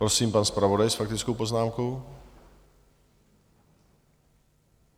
Prosím, pan zpravodaj s faktickou poznámkou.